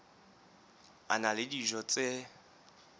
a na le dijo tse